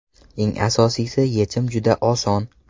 Eng asosiy yechim juda oson.